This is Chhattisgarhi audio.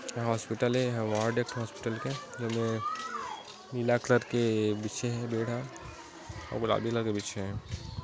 ये हॉस्पिटल ये ये वार्ड ये एक ठो हॉस्पिटल के जेमे नीला कलर के बिछे हे बेड ह आऊ बिछे हे।